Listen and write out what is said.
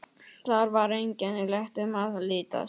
Þar var einkennilegt um að litast.